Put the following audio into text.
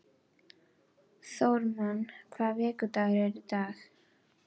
Þórmar, hvaða vikudagur er í dag?